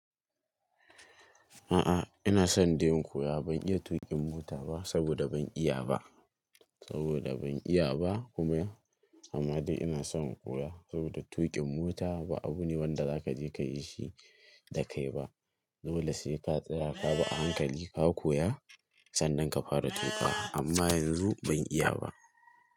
A'a, ina son dai in koya. Ban iya tuƙin mota ba saboda ban iya ba, saboda ban iya ba kuma amma dai ina son in koya saboda tuƙin mota ba abu ne wanda zaka je ka yi shi da kai ba. Dole sai ka tsira ka ba a hankali ka koya sannan ka fara tuƙa amma yanzu ban iya ba.